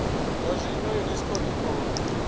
zwa zwino unesco i khou